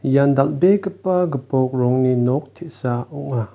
ian dal·begipa gipok rongni nok te·sa ong·a.